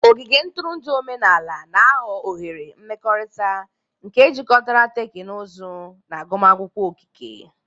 Ogige ntụrụndụ omenala ga-aghọ oghere mmekọrịta nke jikọtara teknụzụ na agụmakwụkwọ okike.